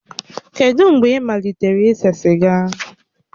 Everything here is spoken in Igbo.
Kedụ mgbe ị malitere ise siga?